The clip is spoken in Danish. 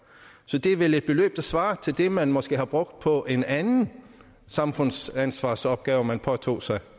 så det er vel et beløb der svarer til det man måske har brugt på en anden samfundsansvarsopgave man har påtaget sig